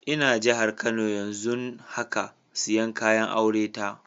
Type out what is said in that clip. N'na jihar Kano yanzun haka, siyan kayan aure ta